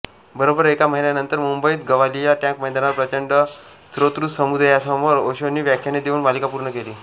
बरोबर एका महिन्यानंतर मुंबईतच गवालिया टॅॅंक मैदानावर प्रचंड श्रोतृसमुदायासमोर ओशोंनी व्याख्याने देऊन मालिका पूर्ण केली